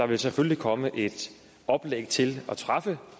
vil selvfølgelig komme et oplæg til at træffe